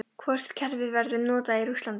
Hvort kerfið verður notað í Rússlandi?